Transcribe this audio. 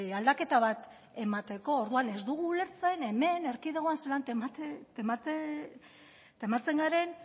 aldaketa bat emateko orduan ez dugu ulertzen hemen erkidegoan zelan tematzen garen